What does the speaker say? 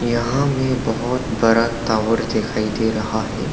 यहां में बहुत बड़ा टॉवर दिखाई दे रहा है।